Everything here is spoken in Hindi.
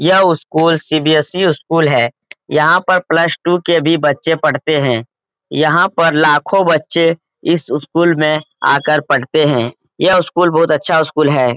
यह स्कूल सी.बी.एस.सी. स्कूल है | यहाँ पर प्लस टू के भी बच्चे पढ़ते है यहाँ पर लाखों बच्चे इस स्कूल में आकर पढ़ते है | यह स्कूल बहुत अच्छा स्कूल है ।